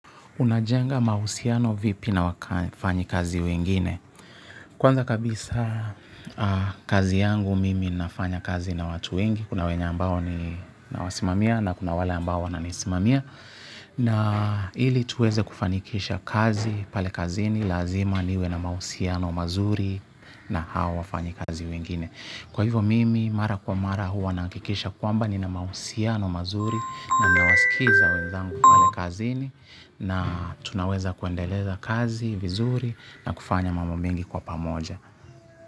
Unajenga mahusiano vipi na wafanyakazi wengine? Kwanza kabisa kazi yangu mimi fanyakazi na watu wengine. Kuna wenye ambao ni na wasimamia na kuna wale ambao na nisimamia. Na ili tuweze kufanikisha kazi pale kazini lazima niwe na mahusiano mazuri na hawa wafanyi kazi wengine. Kwa hivyo mimi mara kwa mara huwa nakikisha kwamba ni na mahusiano mazuri na nawasikiza wenzangu pale kazini na tunaweza kuendeleza kazi, vizuri na kufanya mambo mingi kwa pamoja.